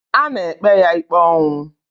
A na-ekpe ya ikpe ọnwụ.